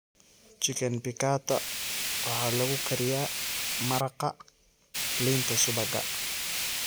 Chicken piccata waxaa lagu kariyaa maraqa liinta-subagga.